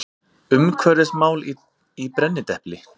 Umhverfismál í brennidepli.